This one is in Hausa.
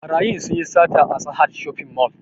Ɓarayin sun yi sata a sahad shopping mall